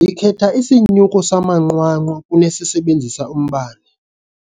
Ndikhetha isinyuko samanqwanqwa kunesisebenzisa umbane.